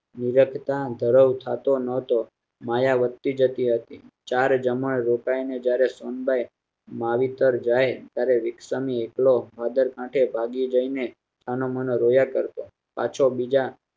મુરત માં ધરાય જતો નતો માયા વધતી જતી હતી ચાર જમાઈ રોતા ને જયારે સોનબાઇ માવી પાર જાય ત્યારે રીક્ષા ની એકલો ભાદર કાંઢે ભાગ્યું દઈ ને સાનુમાનું રોયા કરતો પાછો બીજા